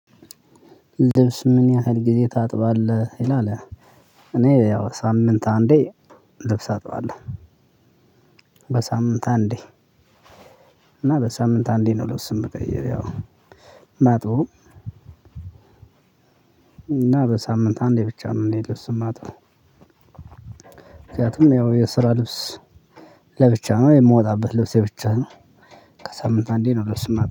ልብስ ምን ያህል ጊዜ ታጥባለህ ይላል? እኔ ያው ሳምንት አንዴ ልብስ አጠዋለሁ። በሳምንት አንዴ እና በሳምንት አንዴ ነው ልብስን መቀየር ያው ማጥበውም። እና በሳምንት አንዴ ብቻ ነው እኔ ልብስ የማጣው። ምክንያቱም ያው የስራ ልብስ ለብቻ ነው የምወጣበት ልብስ ብቻ ነው። ከሳምንት አንዴ ነው ልብስ ማጥበው